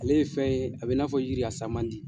Ale ye fɛn ye a bɛ n'a fɔ yiri a sa man di.